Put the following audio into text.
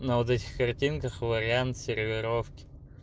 на вот этих картинках вариант сервировки